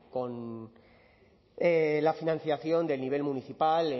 con la financiación del nivel municipal